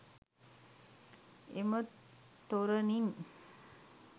එම තොරණින්